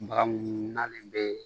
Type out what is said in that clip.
Baga mununalen bɛ